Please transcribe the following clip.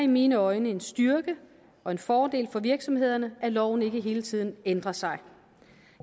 mine øjne en styrke og en fordel for virksomhederne at loven ikke hele tiden ændrer sig